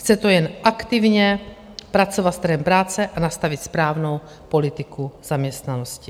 Chce to jen aktivně pracovat s trhem práce a nastavit správnou politiku zaměstnanosti.